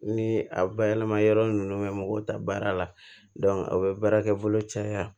Ni a bayɛlɛma yɔrɔ nunnu mɛ mɔgɔw ta baara la a be baarakɛ bolo caya